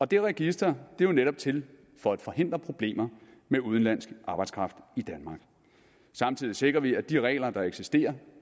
det register er jo netop til for at forhindre problemer med udenlandsk arbejdskraft i danmark samtidig sikrer vi at de regler der eksisterer